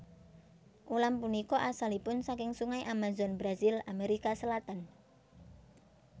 Ulam punika asalipun saking Sungai Amazon Brazil Amerika Selatan